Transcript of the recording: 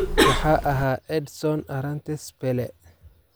Waxaa ahaa Edson Arantes Pele.